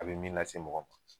A be min lase mɔgɔ ma